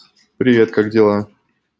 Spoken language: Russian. привет как дела